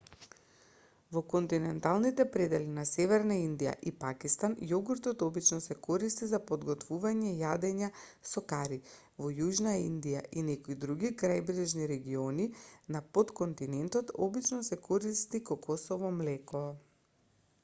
во континенталните предели на северна индија и пакистан јогуртот обично се користи за подготвување јадења со кари во јужна индија и некои други крајбрежни региони на потконтинентот обично се користи кокосово млеко